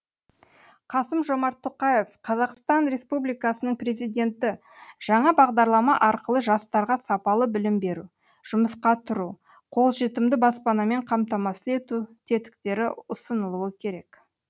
қасым жомарт тоқаев қазақстан республикасының президенті жаңа бағдарлама арқылы жастарға сапалы білім беру жұмысқа тұру қолжетімді баспанамен қамтамасыз ету тетіктері ұсынылуы керек